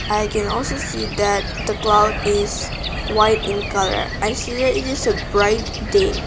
i can also see that the cloud is white in colour i see it is a bright day.